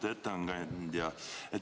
Lugupeetud ettekandja!